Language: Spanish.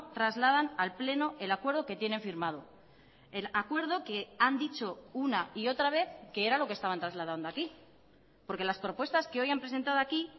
trasladan al pleno el acuerdo que tienen firmado el acuerdo que han dicho una y otra vez que era lo que estaban trasladando aquí porque las propuestas que hoy han presentado aquí